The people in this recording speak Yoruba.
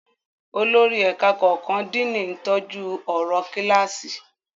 Olórí ẹ̀ka kọ̀ọ̀kan, Díìnì, ń tọ́jú ọ̀rọ̀ kíláàsì.